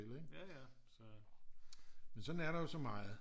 Men sådan er der jo så meget